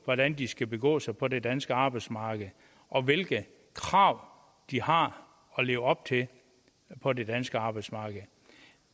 hvordan de skal begå sig på det danske arbejdsmarked og hvilke krav de har at leve op til på det danske arbejdsmarked i